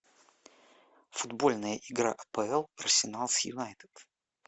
футбольная игра апл арсенал с юнайтед